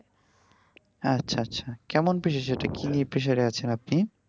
আচ্ছা আচ্ছা কেমন pressure এইটা কি নিয়ে pressure এ আছেন আপনি?